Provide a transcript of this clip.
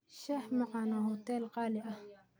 shah macan waa huteel qaali ah